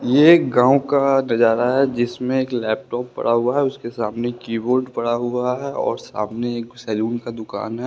ये एक गांव का नजारा है जिसमें एक लैपटॉप पड़ा हुआ है उसके सामने कीबोर्ड पड़ा हुआ है और सामने सैलून का दुकान है।